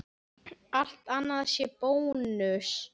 Allt annað sé bónus?